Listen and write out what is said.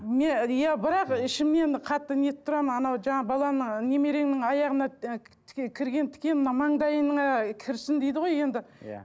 не иә бірақ ішімнен қатты не етіп тұрамын анау жаңағы баламның немереңнің аяғына і тіке кірген тіке мына маңдайыңа кірсін дейді ғой енді иә